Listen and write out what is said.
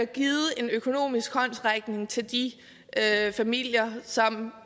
givet en økonomisk håndsrækning til de familier som